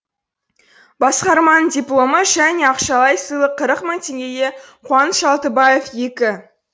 басқарманың дипломы және ақшалай сыйлық қырық мың теңге қуаныш алтыбаев екі